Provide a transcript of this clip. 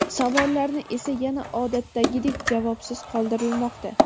savollarni esa yana odatdagidek javobsiz qoldirmoqda.